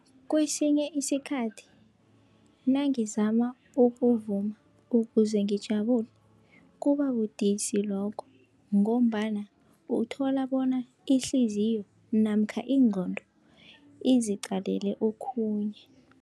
Kesinye isikhathi nangizama ukuvuma ukuze ngijabule, kuba budisi lokho ngombana uthola bona ihliziyo namkha ingqondo iziqalele okhunye.